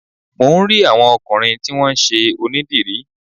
Mò ń rí àwọn ọkùnrin tí wón ṣe onídìrí.